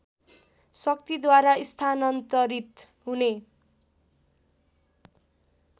शक्तिद्वारा स्थानान्तरित हुने